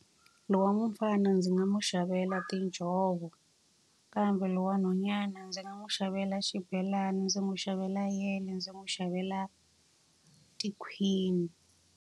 Loyi wa mufana ndzi nga n'wi xavela tinjhovo Kambe loyi wa nhwanyana ndzi nga n'wi xavela xibelani, ndzi n'wi xavela yele, ndzi n'wi xavela tikhwini.